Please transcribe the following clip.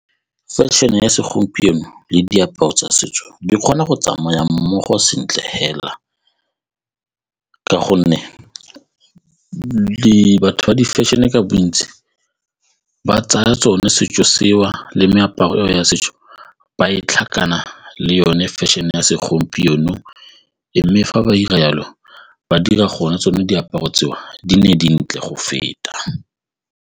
Fashion-e ya segompieno le diaparo tsa setso di kgona go tsamaya mmogo sentle fela ka gonne di-fashion-e ka bontsi ba tsaya tsone setso seo le meaparo ya setso ba le yone fashion-e e ya segompieno mme fa ba dira jalo ba dira gone tsone diaparo tseo di nne dintle go feta.